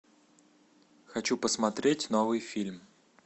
хочу посмотреть новый фильм